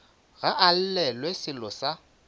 ga a llelwe sello sa